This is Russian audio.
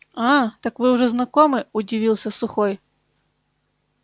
а так вы уже знакомы удивился сухой